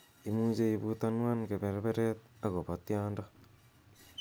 imuche ibutanwan kaberberet agopo tyondo